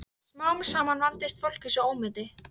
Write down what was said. Hera, ekki fórstu með þeim?